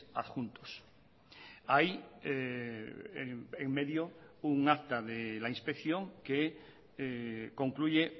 adjuntos hay en medio un acta de la inspección que concluye